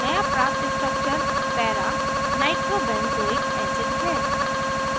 नया प्राप्त structure paranitrobenzoic acid है